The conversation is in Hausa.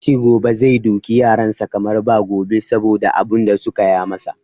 Ya ce gobe zai doki yaran sa kamar ba gobe saboda abun da suka ya masa.